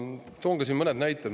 Toon ka mõned näited.